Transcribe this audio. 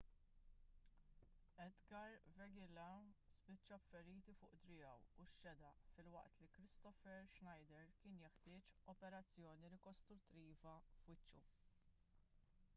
edgar veguilla spiċċa b'feriti fuq driegħu u x-xedaq filwaqt li kristoffer schneider kien jeħtieġ operazzjoni rikostruttiva f'wiċċu